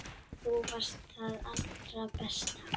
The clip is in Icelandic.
Þú varst það allra besta.